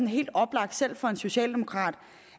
helt oplagt selv for en socialdemokrat